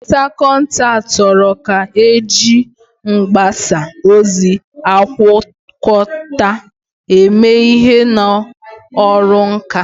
Onye nkatọ nka toro ka eji mgbasa ozi agwakọta eme ihe n'ọrụ nka.